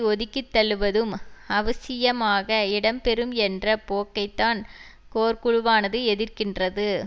ஒதுக்கித்தள்ளுவதும் அவசியமாக இடம்பெறும் என்ற போக்கைத்தான் கோர் குழுவானது எதிர்க்கின்றது